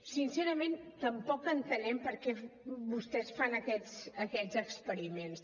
sincerament tampoc entenem per què vostès fan aquests experiments